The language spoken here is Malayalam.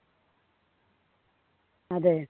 അതെ